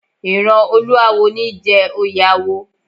Ìran olúáwo ní í jẹ oyè awo